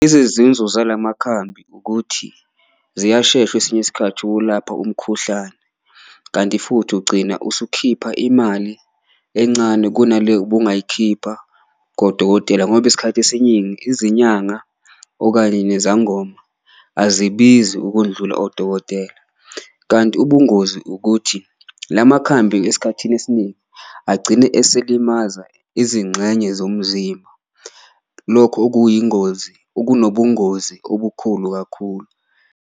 Zala makhambi ukuthi ziyashesha kwesinye isikhathi okulapha umkhuhlane kanti futhi ugcina usukhipha imali encane kunale obungayikhipha kodokotela, ngoba isikhathi esiningi izinyanga okanye nezangoma azibizi ukundlula odokotela. Kanti ubungozi ukuthi la makhambi esikhathini esiningi agcine esekulimaza izingxenye zomzimba, lokho okuyingozi okunobungozi obukhulu kakhulu.